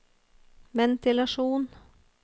ventilasjon